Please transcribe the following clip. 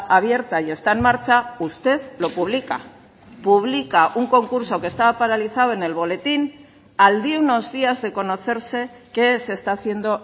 abierta y está en marcha usted lo publica publica un concurso que está paralizado en el boletín al de unos días de conocerse que se está haciendo